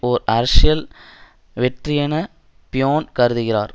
ஓர் அரசியல் வெற்றியென பிய்யோன் கருதுகிறார்